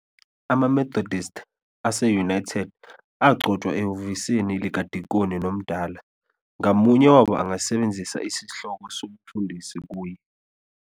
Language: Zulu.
Ama-Methodist ase-United agcotshwa ehhovisi ledikoni nomdala, ngamunye wabo angasebenzisa isihloko sobufundisi kuye.